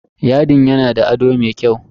Yadin yana da ado mai kyau.